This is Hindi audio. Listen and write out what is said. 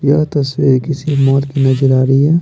यह तस्वीर किसी मौत की नजर आ रही है।